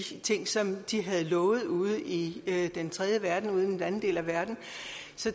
ting som de havde lovet ude i den tredje verden den anden del af verden